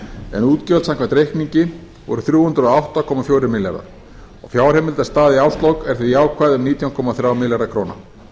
en útgjöld samkvæmt reikningi voru þrjú hundruð og átta komma fjórir milljarðar og fjárheimildastaða í árslok er því jákvæð um nítján komma þrjá milljarða króna